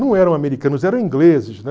Não eram americanos, eram ingleses, né?